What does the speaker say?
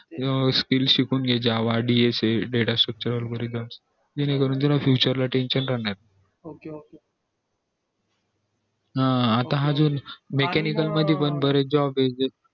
अं skills शिकून घे java dsa data structure algorithm जेणे करून तुला ला future tension राहणार नाही अं हा आता जो mechanism मध्ये पण बरेच job येत